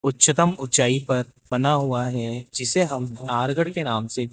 उच्चतम ऊंचाई पर बना हुआ है जिसे हम नारगढ़ के नाम से--